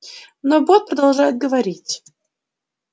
но бог продолжает говорить